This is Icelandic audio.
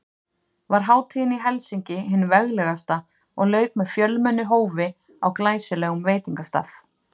Var hátíðin í Helsinki hin veglegasta og lauk með fjölmennu hófi á glæsilegum veitingastað.